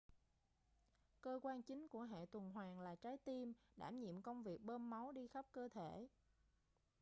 cơ quan chính của hệ tuần hoàn là trái tim đảm nhiệm công việc bơm máu đi khắp cơ thể